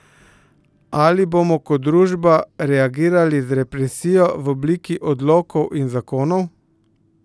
Ali bomo kot družba reagirali z represijo v obliki odlokov in zakonov?